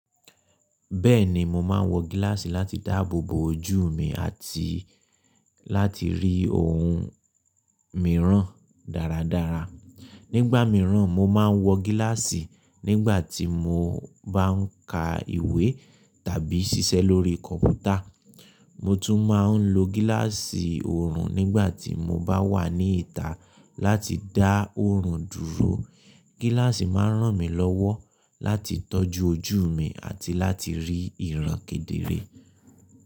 Bẹ́ẹ̀ni, mo máa ń wọ gíláàsì láti dáàbò bo ojú mi àti láti rí ohun mìíràn dáradára. Nígbà mìíràn, mo máa ń wọ gíláàsì nígbà tí mo bá ń ka ìwé tàbí ṣiṣẹ́ lórí kọ̀mpútà. Mo tún máa ń lo gíláàsì òòrùn nígbà tí mo bá wà ní ìta láti dá òòrùn dúró. Gíláàsì máa ń ràn mí lọ́wọ́ láti tọ́jú ojú mi àti láti rí ìran kedere.